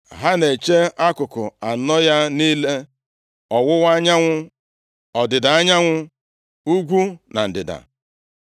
Ha na-eche akụkụ anọ ya niile, ọwụwa anyanwụ, ọdịda anyanwụ, ugwu na ndịda.